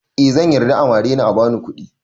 Eh zan yarda a mare ni a bani kuɗi